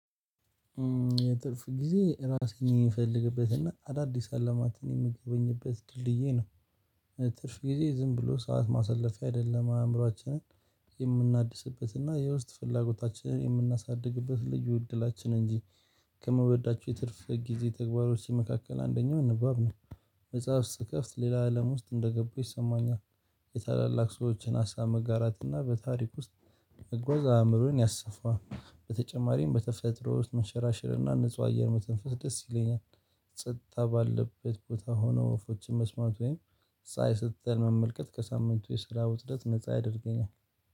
ትርፍ ጊዜ ራሴን የምፈልግበትና አዳዲስ አለማትን የምጎበኝበት ድልድዬ ነው። ትርፍ ጊዜ ዝም ብሎ ሰዓት ማሳለፊያ አይደለም አእምሮአችንን የምናድስበትና የውስጥ ፍላጎታችንን የምናሳድግበት ልዩ እድላችን እንጂ። ከምወዳቸው የትርፍ ጊዜ ተግባሮች መካከል አንደኛው ንባብ ነው። መጽሐፍ ስትከፍት ሌላ አለም ውስጥ እንደገባሁ ይሰማኛል። የታላላቅ ሰዎችን ሀሳብ መጋራት እና በታሪክ ውስጥ መጓዝ አእምሮዬን ያሰፋል። በተጨማሪም በተፈጥሮ ውስጥ መንሸራሸርና ንጹህ አየር መተንፈስ ደስ ይለኛል። ጸጥታ ባለበት ቦታ ሆኖ ወፎችን መስማት ወይም ፀሀይ ስትጠልቅ መመልከት ከሳምንቱ የስራ ውጥረት ነፃ ያደርገኛል።